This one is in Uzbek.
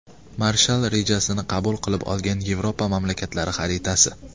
Marshall rejasini qabul qilib olgan Yevropa mamlakatlari xaritasi.